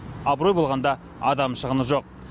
абырой болғанда адам шығыны жоқ